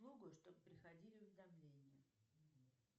чтобы приходили уведомления